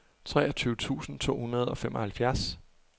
treogtyve tusind to hundrede og femoghalvfjerds